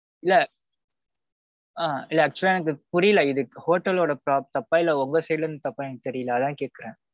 இல்ல. ஆ. இல்ல actual லா எனக்கு புரியல இது hotel ஓட தப்பா இல்ல உங்க side ல இருந்து தப்பானு தெரியல அதான் கேட்டேன்.